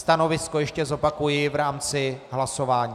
Stanovisko ještě zopakuji v rámci hlasování.